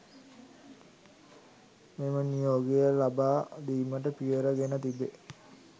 මෙම නියෝගය ලබා දීමට පියවර ගෙන තිබේ